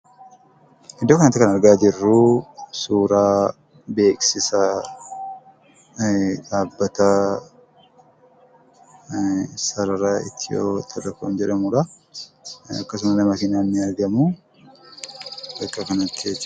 Iddoo kanatti kan argaa jirru suuraa beeksisa dhabbata sarara Itiyooteelee koomidha. Akkasumallee konkolaatan ni argamu